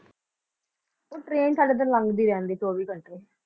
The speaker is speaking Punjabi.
ਉਹ train ਸਾਡੇ ਤੇ ਲੰਘਦੀ ਰਹਿੰਦੀ ਚੌਵੀ ਘੰਟੇ।